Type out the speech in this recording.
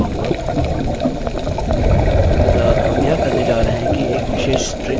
अतः हम यह करने जा रहे हैं कि एक विशेष स्ट्रिंग को एक विशेष वेल्यू से बदल रहे हैं